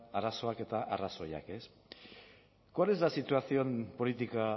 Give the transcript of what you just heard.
arazoak eta arrazoiak ez cuál es la situación política